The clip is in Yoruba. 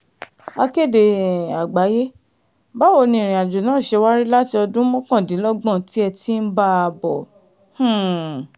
akéde um àgbáyé báwo ni ìrìn àjò náà ṣe wá rí láti ọdún mọ́kàndínlọ́gbọ̀n tẹ́ ẹ ti ń bá a bọ̀ um